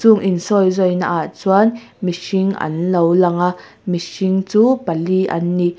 chung insawi zawi naah chuan mihring anlo lang a mihring chu pali an ni.